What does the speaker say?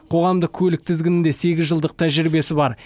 қоғамдық көлік тізгінінде сегіз жылдық тәжірибесі бар